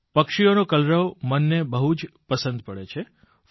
પક્ષીઓનો કલરવ મનને બહુ જ પસંદ પડે છે